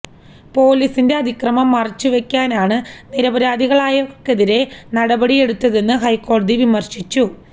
പോലീസിന്റെ അതിക്രമം മറച്ച് വെക്കാനാണ് നിരപരാധികളായവർക്കെതിരെ നടപടിയെടുത്തതെന്ന് ഹൈക്കോടതി വിമർശിച്ചു